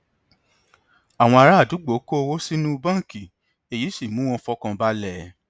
àwọn ará àdúgbò kó owó sínú báńkì èyí sì mú wọn fọkàn balẹ